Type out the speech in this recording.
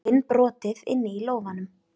Finn brotið inni í lófanum.